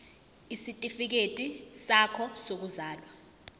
isitifikedi sakho sokuzalwa